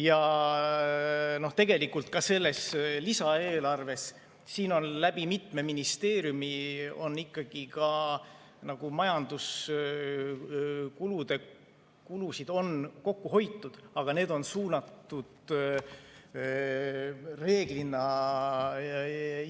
Ja tegelikult ka selles lisaeelarves on mitmes ministeeriumis ikkagi majanduskulusid kokku hoitud, aga need on suunatud reeglina